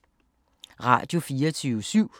Radio24syv